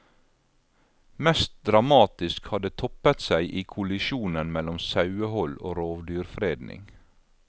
Mest dramatisk har det toppet seg i kollisjonen mellom sauehold og rovdyrfredning.